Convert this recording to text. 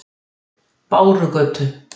Bárugötu